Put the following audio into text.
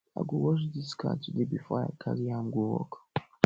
i go wash dis car today before i carry am go work